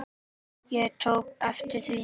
Ég tók eftir því.